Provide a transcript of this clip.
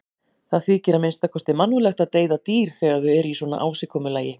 Það þykir að minnsta kosti mannúðlegt að deyða dýr þegar þau eru í svona ásigkomulagi.